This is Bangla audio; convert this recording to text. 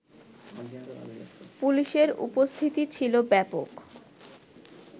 পুলিশের উপস্থিতি ছিলো ব্যাপক